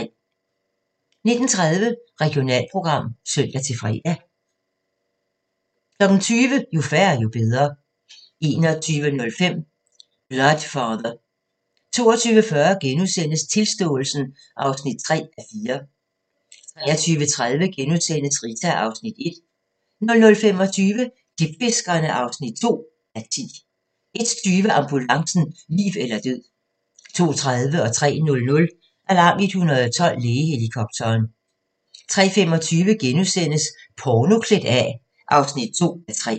19:30: Regionalprogram (søn-fre) 20:00: Jo færre, jo bedre 21:05: Blood Father 22:40: Tilståelsen (3:4)* 23:30: Rita (Afs. 1)* 00:25: Klipfiskerne (2:10) 01:20: Ambulancen - liv eller død 02:30: Alarm 112 - Lægehelikopteren 03:00: Alarm 112 - Lægehelikopteren 03:25: Porno klædt af (2:3)*